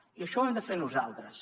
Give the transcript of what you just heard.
i això ho hem de fer nosaltres